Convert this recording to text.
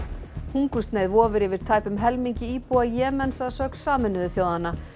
hungursneyð vofir yfir tæpum helmingi íbúa Jemens að sögn Sameinuðu þjóðanna